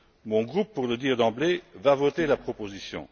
Mon groupe pour le dire d'emblée va voter la proposition.